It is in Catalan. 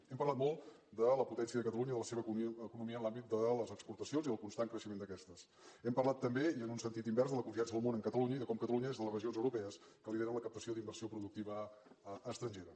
hem parlat molt de la potència de catalunya i de la seva economia en l’àmbit de les exportacions i del constant creixement d’aquestes hem parlat també i en un sentit invers de la confiança del món en catalunya i de com catalunya és de els regions europees que lideren la captació d’inversió productiva estrangera